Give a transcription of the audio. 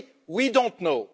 We don't know.